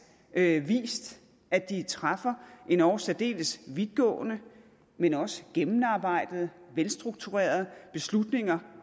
at at de træffer endog særdeles vidtgående men også gennemarbejdede velstrukturerede beslutninger